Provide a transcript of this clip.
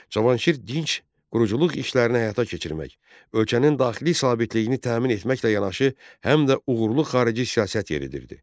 Cavanşir dinc quruculuq işlərini həyata keçirmək, ölkənin daxili sabitliyini təmin etməklə yanaşı, həm də uğurlu xarici siyasət yeridirdi.